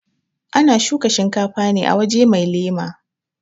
ana shuka shinkafa ne a waje mai lema